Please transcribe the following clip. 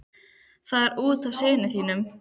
Það er út af syni þínum.